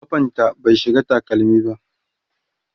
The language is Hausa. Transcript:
kafanta bai shiga takalmi ba